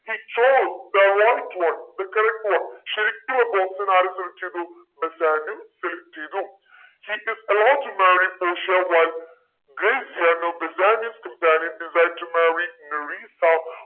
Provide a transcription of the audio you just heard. he chose the right one the correct one ശരിക്കുള്ള box ആണ് ആര് select ചെയ്തു ബെസാനിയോ select ചെയ്തു he is to marry പോഷിയ while Gratiano Bassanio's companion decide to marry Nerissa